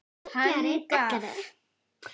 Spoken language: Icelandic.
Hann gaf